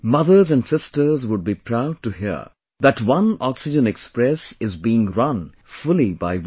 Mothers and sisters would be proud to hear that one oxygen express is being run fully by women